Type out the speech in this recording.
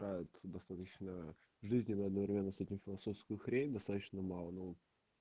достаточно жизни одновременно с этим философскую хрень достаточно мало